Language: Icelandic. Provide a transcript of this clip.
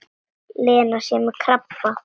Lena sé með krabba.